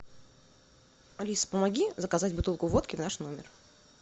алис помоги заказать бутылку водки в наш номер